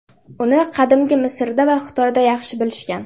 Uni qadimgi Misrda va Xitoyda yaxshi bilishgan.